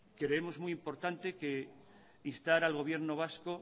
creemos muy importante instar al gobierno vasco